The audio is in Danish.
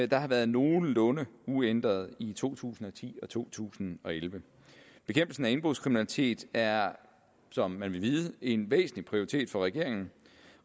der har været nogenlunde uændrede i to tusind og ti og to tusind og elleve bekæmpelsen af indbrudskriminalitet er som man vil vide en væsentlig prioritet for regeringen